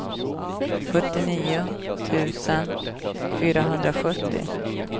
sjuttionio tusen fyrahundrasjuttio